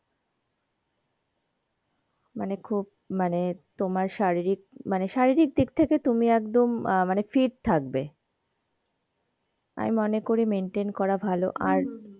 মানে খুব মানে তোমার শারীরিক মানে শারীরিক দিক থেকে তুমি একদম আহ মানে fit থাকবে আমি মনে করি maintain করা ভালো আর,